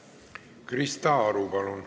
Krista Aru, palun!